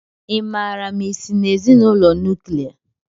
Ị maara ma ị si na ezinụlọ nuklia?